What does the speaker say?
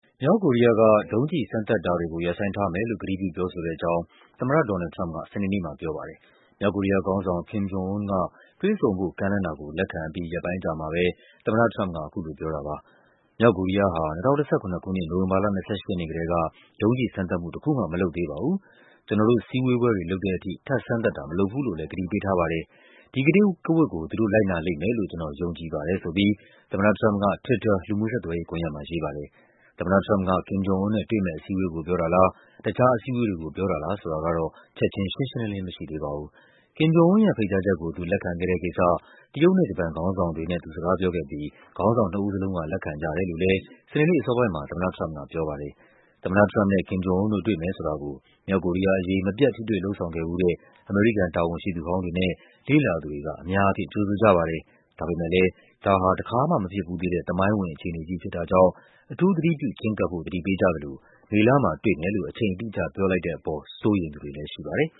မြောက်ကိုရီးယားက ဒုံးကျည်စမ်းသပ်တာတွေကို ရပ်ဆိုင်းထားမယ်လို့ ကတိပြုပြောဆိုတဲ့အကြောင်း သမ္မတ ဒေါ်နယ်လ်ဒ် ထရမ့်ပ်က စနေနေ့မှာပြောပါတယ်။ မြောက်ကိုရီးယားခေါင်းဆောင် Kim Jong-Un က တွေ့ဆုံဖို့ကမ်းလှမ်းတာကို လက်ခံအပြီး ရက်ပိုင်းအကြာမှာပဲ သမ္မတထရမ့်ပ်က အခုလိုပြောတာပါ။ “မြောက်ကိုရီးယားဟာ ၂၀၁၇ ခုနှစ်၊ နိုဝင်ဘာလ ၂၈ ရက်နေ့ကတည်းက ဒုံးကျည်စမ်းသပ်မှုတခုမှ မလုပ်သေးပါဘူး။ ကျနော်တို့ စည်းဝေးပွဲလုပ်တဲ့အထိ ထပ်စမ်းသပ်တာ မလုပ်ဘူးလို့လည်း ကတိပေးထားပါတယ်။ ဒီကတိကဝတ်ကို သူတို့ လိုက်နာလိမ့်မယ် လို့ ကျနော်ယုံကြည်ပါတယ်” ဆိုပြီး သမ္မတထရမ့်ပ်က Twitter လူူမှုဆက်သွယ်ရေးကွန်ယက်မှာ ရေးပါတယ်။ သမ္မတထရမ့်ပ်က Kim Jong-Un နဲ့ တွေ့မယ့်အစည်းအဝေးကို ပြောတာလား၊ တခြားအစည်းအဝေးတွေကို ပြောတာလားဆိုတာ ကတော့ ချက်ခြင်း ရှင်းရှင်းလင်းလင်းမရှိသေးပါဘူး။ Kim Jong-Un ရဲ့ ဖိတ်ကြားချက်ကို သူလက်ခံခဲ့တဲ့ကိစ္စ တရုတ်နဲ့ ဂျပန်ခေါင်းဆောင်တွေနဲ့ သူစကားပြောခဲ့ပြီး ခေါင်းဆောင်နှစ်ဦး လုံးက လက်ခံကြတယ်လို့လည်း စနေနေ့အစောပိုင်းမှာ သမ္မတထရမ့်ပ်က ပြောပါတယ်။ သမ္မတထရမ့်ပ်နဲ့ Kim Jong-Un တို့ တွေ့မယ်ဆိုတာကို မြောက်ကိုရီးယားအရေး မပြတ် ထိတွေ့လုပ်ဆောင်ခဲ့ဖူးတဲ့ အမေရိကန် တာဝန်ရှိသူဟောင်းတွေနဲ့ လေ့လာသူတွေက အများအားဖြင့် ကြိုဆိုကြပါတယ်။ ဒါပေမဲ့လည်း ဒါဟာ တခါမှမဖြစ်ဖူးသေးတဲ့ သမိုင်းဝင် အခြေအနေကြီးဖြစ်တာကြောင့် အထူးသတိပြုချဉ်းကပ်ဖို့ သတိပေးကြသလို မေလမှာ တွေ့မယ်လို့ အချိန်အတိအကျ ပြောလိုက်တဲ့အပေါ် စိုးရိမ်သူတွေလည်းရှိပါတယ်